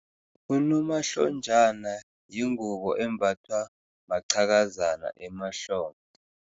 Unomahlonjana yingubo embathwa maqhakazana emahlombe.